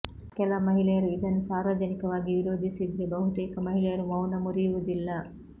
ಕೆಲ ಮಹಿಳೆಯರು ಇದನ್ನು ಸಾರ್ವಜನಿಕವಾಗಿ ವಿರೋಧಿಸಿದ್ರೆ ಬಹುತೇಕ ಮಹಿಳೆಯರು ಮೌನ ಮುರಿಯುವುದಿಲ್ಲ